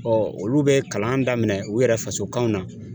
olu bɛ kalan daminɛ u yɛrɛ faso kanw na.